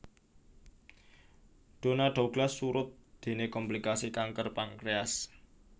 Donna Douglas surut déné komplikasi kanker pankréas